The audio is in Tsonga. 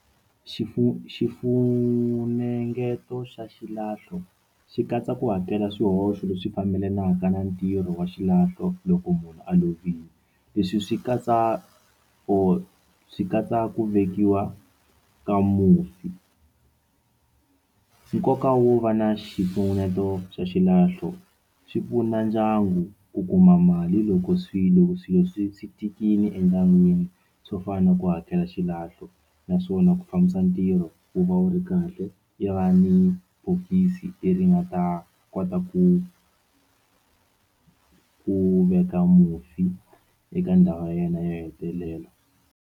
xifunengeto xa xilahlo xi katsa ku hakela swihoxo leswi fambelanaka na ntirho wa xilahlo loko munhu a lovile leswi swi katsa or swi katsa ku vekiwa ka mufi nkoka wo va na xifunengeto xa xilahlo swi pfuna ndyangu ku kuma mali loko swi loko swilo swi swi tikile endyangwini swo fana na ku hakela xilahlo naswona ku fambisa ntirho wu va wu ri kahle yi va ni bokisi leri nga ta kota ku ku veka mufi eka ndhawu ya yena yo hetelela.